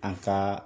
An ka